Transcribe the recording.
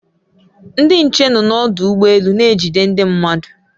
Ndị nche nọ n'ọdụ ụgbọ elu na-ejide ndị mmadụ